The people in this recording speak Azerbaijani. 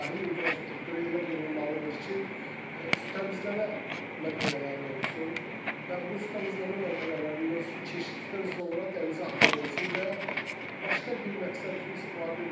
Sahil infrastrukturu elə qurulmalıdır ki, su təmizləmə məntəqələri olsun və bu su təmizləmə məntəqələrindən su keçdikdən sonra dənizə axıdılsın və yaxud başqa bir məqsəd üçün istifadə edilsin.